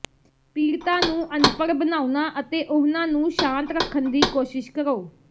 ਪੀੜਤਾ ਨੂੰ ਅਨਪੜ੍ਹ ਬਣਾਉਣਾ ਅਤੇ ਉਹਨਾਂ ਨੂੰ ਸ਼ਾਂਤ ਰੱਖਣ ਦੀ ਕੋਸ਼ਿਸ਼ ਕਰੋ